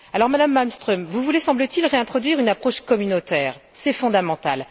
Madame Malmström, vous voulez, semble t il, réintroduire une approche communautaire, c'est fondamental.